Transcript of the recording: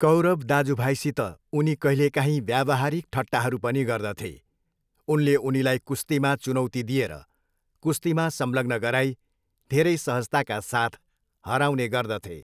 कौरव दाजुभाइसित उनी कहिलेकाहीँ व्यावहारिक ठट्टाहरू पनि गर्दथे, उनले उनीलाई कुस्तीमा चुनौती दिएर कुस्तीमा संलग्न गराई धेरै सहजताका साथ हराउने गर्दथे।